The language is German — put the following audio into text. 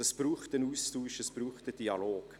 Es braucht einen Austausch, einen Dialog.